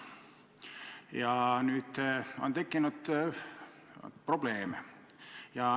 Ja nüüd on tekkinud probleem.